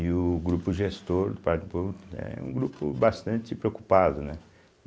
E o grupo gestor do Parque do Povo é um grupo bastante preocupado, né?